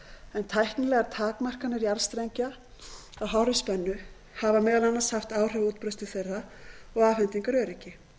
en tæknilegar takmarkanir jarðstrengja á hárri spennu hafa meðal annars haft áhrif á útbreiðslu þeirra og afhendingaröryggi